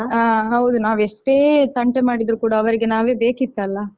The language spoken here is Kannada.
ಹಾ ಹೌದು ನಾವೆಷ್ಟೇ ತಂಟೆ ಮಾಡಿದ್ರೂ ಕೂಡ ಅವ್ರಿಗೆ ನಾವೇ ಬೇಕಿತ್ತಲ್ಲಾ.